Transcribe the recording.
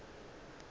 ka gore ke be ke